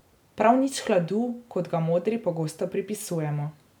Prav nič hladu, kot ga modri pogosto pripisujemo.